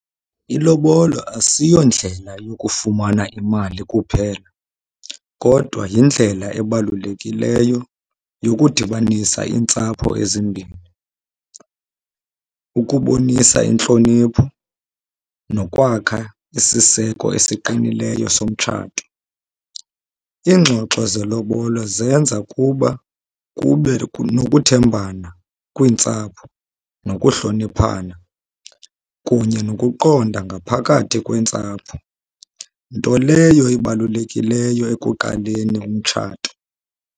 Ilobola asiyondlela yokufumana imali kuphela, kodwa yindlela ebalulekileyo yokudibanisa iintsapho ezimbini, ukubonisa intlonipho, nokwakha isiseko esiqinileyo somtshato. Iingxoxo zelobola zenza kuba kube nokuthembana kwiintsapho nokuhloniphana kunye nokuqonda ngaphakathi kweentsapho, nto leyo ebalulekileyo ekuqaleni umtshato.